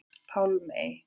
Pálmey